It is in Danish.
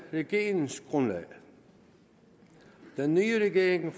regeringsgrundlaget den nye regering